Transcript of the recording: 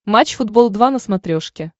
матч футбол два на смотрешке